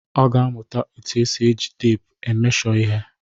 Ọ ga-amụtakwa otu esi eji teepu e mesho ihe.